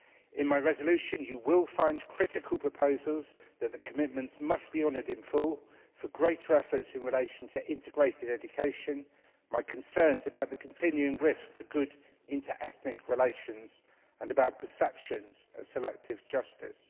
In my resolution, you will find critical proposals that the commitments must be honoured in full, for greater efforts in relation to integrated education, my concerns about the continuing risk to good inter ethnic relations and about perceptions of selective justice